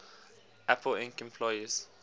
apple inc employees